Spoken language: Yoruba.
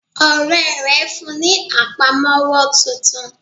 Ọ̀rẹ́ rè fún un ní àpamówọ́ titun